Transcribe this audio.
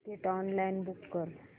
ticket online book कर